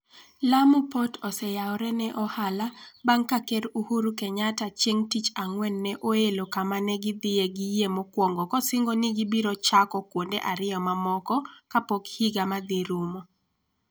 Lamu Port oseyawore ne ohala bang' ka Ker Uhuru Kenyatta chieng' Tich Ang'wen ne oelo kama ne gidhie gi yie mokwongo kosingo ni gibiro chako kuonde ariyo mamoko kapok higa ma dhi rumo.